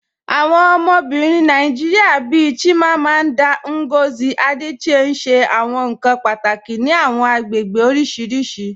Awọn obìnrin Nàìjíríà bíì Chimamanda Ngozi Adichie n ṣẹ awọn nkan pátákì ní àwọn agbègbè oríṣiríṣì.